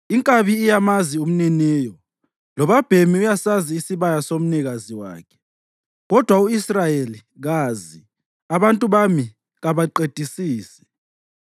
Inkabi iyamazi umniniyo, lobabhemi uyasazi isibaya somnikazi wakhe, kodwa u-Israyeli kazi, abantu bami kabaqedisisi.”